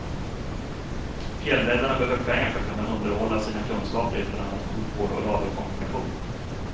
Fjällräddarna behöver pengar för att kunna underhålla sina kunskaper i bland annat sjukvård och radiokommunikation.